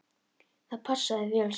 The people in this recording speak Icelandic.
Það passaði vel saman.